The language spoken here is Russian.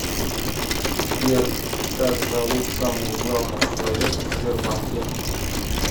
сбер как зовут самого главного человека в сбербанке